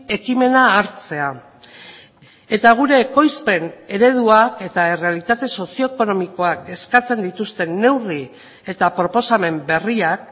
ekimena hartzea eta gure ekoizpen ereduak eta errealitate sozio ekonomikoak eskatzen dituzten neurri eta proposamen berriak